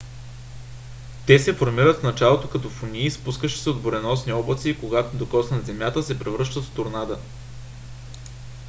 те се формират в началото като фунии спускащи се от буреносни облаци и когато докоснат земята се превръщат в торнада